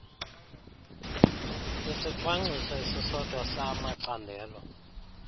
isicwangcwwiso esisodwa samacandelo